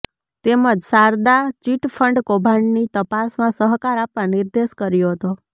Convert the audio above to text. તેમજ શારદા ચિટફંડ કૌભાંડની તપાસમાં સહકાર આપવા નિર્દેશ કર્યો હતો